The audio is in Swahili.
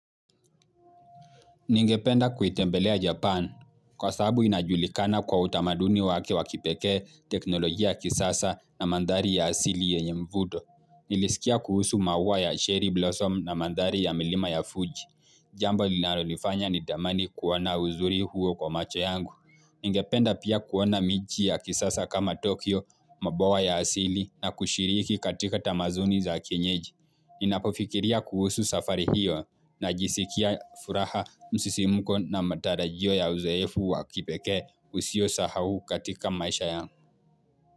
Ningependa kuitembelea Japan. Kwa sababu inajulikana kwa utamaduni wake wakipeke teknolojia kisasa na mandhari ya asili ya nye mvuto. Nilisikia kuhusu maua ya Sherry Blossom na mandhari ya milima ya Fuji. Jambo linalonifanya ni tamani kuona uzuri huo kwa macho yangu. Ngependa pia kuona miji ya kisasa kama Tokyo mabwa ya asili na kushiriki katika tamaduni za kenyeji. Ninapofikiria kuhusu safari hiyo na jisikia furaha msisimuko na matarajio ya uzeefu wakipekee usio sahau katika maisha yangu.